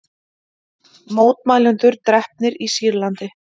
Mótmælendur drepnir í Sýrlandi